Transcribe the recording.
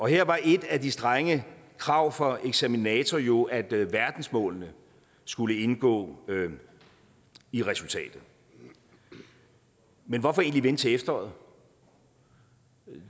her var et af de strenge krav fra eksaminator jo at verdensmålene skulle indgå i resultatet men hvorfor egentlig vente til efteråret